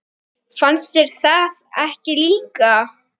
Fannst þér það ekki líka?